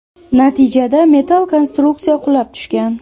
Natijada metall konstruksiya qulab tushgan.